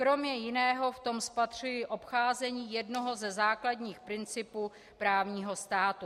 Kromě jiného v tom spatřuji obcházení jednoho ze základních principů právního státu.